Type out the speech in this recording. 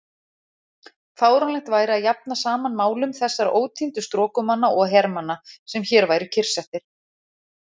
Fáránlegt væri að jafna saman málum þessara ótíndu strokumanna og hermanna, sem hér væru kyrrsettir.